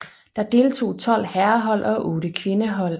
Der deltog tolv herrehold og otte kvindehold